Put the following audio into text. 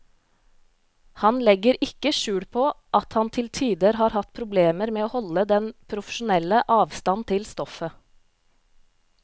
Han legger ikke skjul på at han til tider har hatt problemer med å holde den profesjonelle avstand til stoffet.